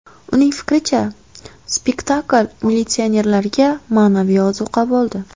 Uning fikricha, spektakl militsionerlarga ma’naviy ozuqa bo‘ldi.